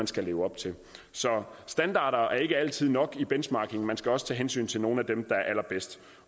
skal leve op til så standarder er ikke altid nok i benchmarking man skal også tage hensyn til nogle af dem der er allerbedst